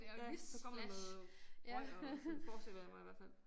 Ja så kommer der noget røg og sådan forestiller jeg mig i hvert fald